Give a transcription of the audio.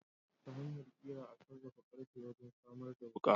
Ta hanyar Kira a sarrafa karfe wajen samar da wuka.